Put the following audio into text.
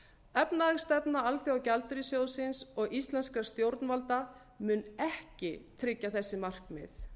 efnahagsstefna alþjóðagjaldeyrissjóðsins og íslenskra stjórnvalda mun ekki tryggja þessi markmið